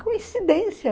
Coincidência?